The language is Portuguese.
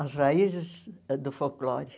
As raízes do folclore.